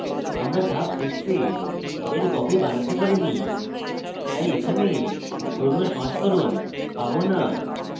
আমরা ধাপ 6 we we copy বানাতে পারিনি তাই এখানে পুরোনো সংস্করণ পারবো না